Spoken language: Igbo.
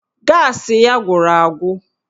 Gaasị ya gwụrụ agwụ